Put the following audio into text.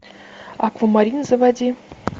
аквамарин заводи